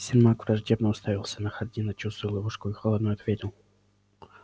сермак враждебно уставился на хардина чувствуя ловушку и холодно ответил